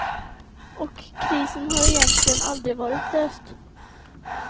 Och krisen har egentligen aldrig varit löst.